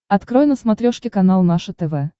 открой на смотрешке канал наше тв